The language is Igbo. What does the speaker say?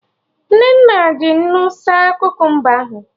Nnenna ji nnu saa Kukumba ahụ